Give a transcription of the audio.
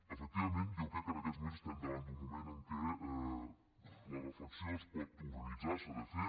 efectivament jo crec que en aquests moments estem davant d’un moment en què la reflexió es pot organitzar s’ha de fer